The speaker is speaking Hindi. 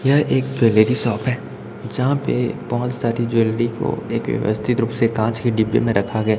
यह एक ज्वैलरी शॉप है जहाँ पे बहुत सारे ज्वैलरी को एक व्यवस्थित रूप से कांच के डिब्बे में रखा गया --